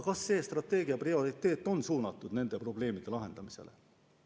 Kas selle strateegia prioriteet on nende probleemide lahendamisega seotud?